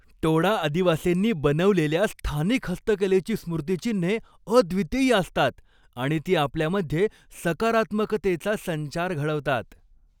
टोडा आदिवासींनी बनवलेल्या स्थानिक हस्तकलेची स्मृतीचिन्हे अद्वितीय असतात आणि ती आपल्यामध्ये सकारात्मकतेचा संचार घडवतात.